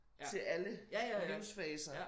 Til alle livsfaser